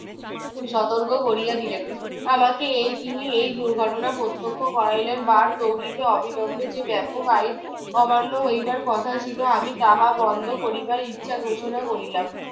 সতর্ক করিয়া দিলেন। আমাকে এই তিনি এই দুর্ঘটনা প্রত্যক্ষ করাইলেন। বারদৌলিতে অবিলম্বে যে ব্যাপক আইন অমান্য হইবার কথা ছিল আমি তাহা বন্ধ করিবার ইচ্ছা ঘোষণা করিলাম।